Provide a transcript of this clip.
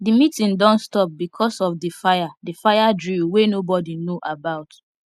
the meeeting don stop because of the fire the fire drill wey nobody know about